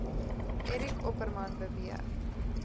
eric opperman beweer